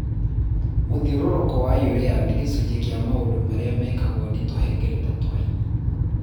Mũthiũrũrũko wa urea nĩ gĩcunjĩ kĩa maũndũ marĩa mekagwo nĩ tũhengereta twa ini.